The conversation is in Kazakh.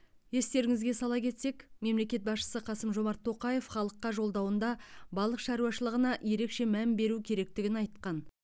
естеріңізге сала кетсек мемлекет басшысы қасым жомарт тоқаев халыққа жолдауында балық шаруашылығына ерекше мән беру керектігін айтқан